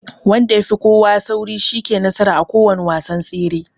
Wanda yafi kowa sauri shine yake nasara a kowanne wasan tsere.